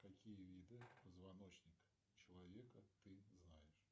какие виды позвоночника человека ты знаешь